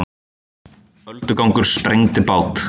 Öldugangur sprengdi bát